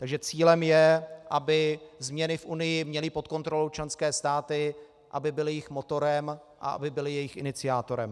Takže cílem je, aby změny v Unii měly pod kontrolou členské státy, aby byly jejich motorem a aby byly jejich iniciátorem.